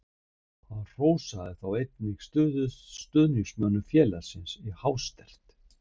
Hann hrósaði þá einnig stuðningsmönnum félagsins í hástert.